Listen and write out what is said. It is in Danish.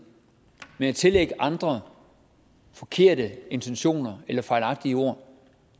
men at tillægge andre forkerte intentioner eller fejlagtige ord